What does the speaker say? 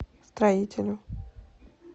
строителю